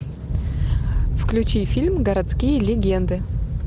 включи фильм городские легенды